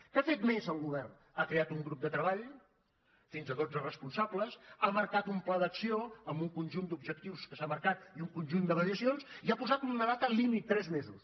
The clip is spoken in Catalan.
què ha fet més el govern ha creat un grup de treball fins a dotze responsables ha marcat un pla d’acció amb un conjunt d’objectius que s’ha marcat i un conjunt de mediacions i ha posat una data límit tres mesos